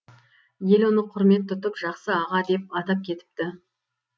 ел оны құрмет тұтып жақсы аға деп атап кетіпті